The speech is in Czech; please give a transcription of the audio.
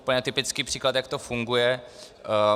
Úplně typický příklad, jak to funguje.